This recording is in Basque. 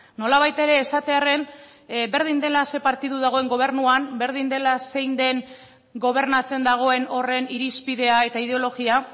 nolabait ere esatearren berdin dela ze partidu dagoen gobernuan berdin dela zein den gobernatzen dagoen horren irizpidea eta ideologia